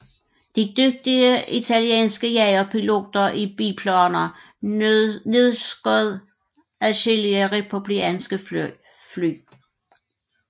De dygtige italienske jagerpiloter i biplaner nedskød adskillige republikanske fly